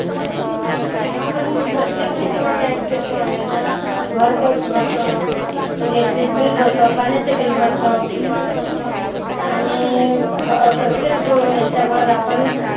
आपण प्रत्येक गोष्टीवर tax देत आहे. घर tax भरतो, electric bill भरतो, पाण्याचंं bill भरतो. आणि ह प्रत्येक याच्यावर आपण